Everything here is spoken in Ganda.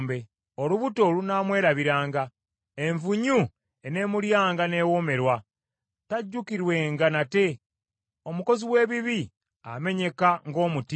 Olubuto lunaamwerabiranga; envunyu eneemulyanga n’ewoomerwa. Tajjukirwenga nate, omukozi w’ebibi amenyeka ng’omuti.